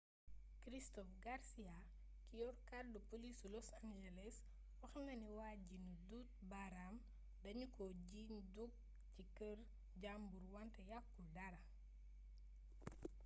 christopher garcia ki yor kàddu polisu loas angeles wax na ne waa ji nu duut baraam danu ko jiiñ dug ci kër jàmbur wante yakkul dara